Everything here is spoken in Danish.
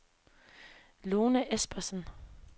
Lone Espensen